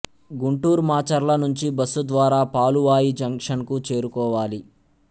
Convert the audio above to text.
గుంటూరు మాచర్ల నుంచి బస్సు ద్వారా పాలువాయి జంక్షన్ కు చేరుకోవాలి